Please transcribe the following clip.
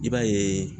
I b'a yeee